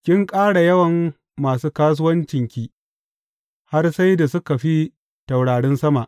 Kin ƙara yawan masu kasuwancinki har sai da suka fi taurarin sama.